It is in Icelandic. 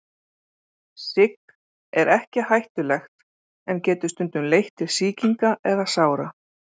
Sigg er ekki hættulegt en getur stundum leitt til sýkinga eða sára.